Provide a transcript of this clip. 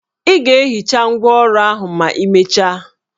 Ị ga-ehicha ngwá ọrụ ahụ ma imecha